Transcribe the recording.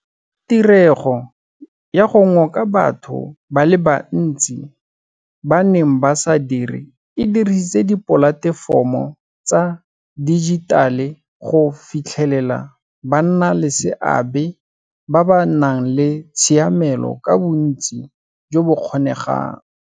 Tirego ya go ngoka batho ba le bantsi ba ba neng ba sa dire e dirisitse dipolatefomo tsa dijitale go fitlhelela bannaleseabe ba ba nang le tshiamelo ka bontsi jo bo kgonegang.